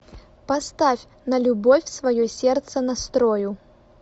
поставь на любовь свое сердце настрою